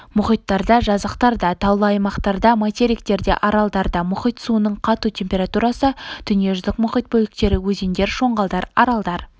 мұхиттарда жазықтарда таулы аймақтарда материктерде аралдарда мұхит суының қату температурасы дүниежүзілік мұхит бөліктері өзендер шоңғалдар аралдар